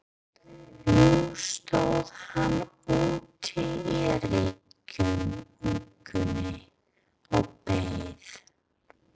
Nú stóð hann úti í rigningunni og beið.